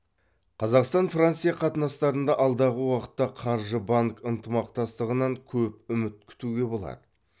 қазақстан франция қатынастарында алдағы уақытта қаржы банк ынтымақтастығынан көп үміт күтуге болады